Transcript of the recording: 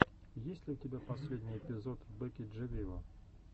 есть ли у тебя последний эпизод бекки джи виво